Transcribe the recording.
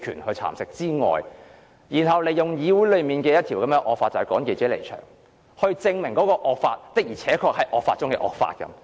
他因此引用《議事規則》內要求記者離場的惡法，證明該項惡法的確是惡法中的惡法。